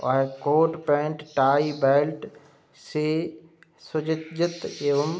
यहाँ पे coat pant tie belt से सुजीजित एवं --